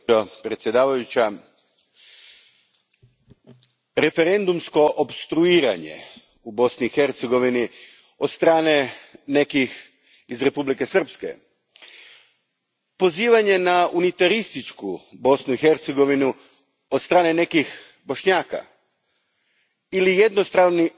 Gospođo predsjednice, Referendumsko opstruiranje u Bosni i Hercegovini od strane nekih osoba iz Republike Srpske, pozivanje na unitarističku Bosnu i Hercegovinu od strane nekih Bošnjaka ili jednostrani